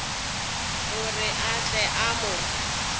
gore a tle a mo